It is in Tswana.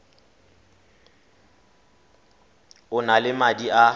o na le madi a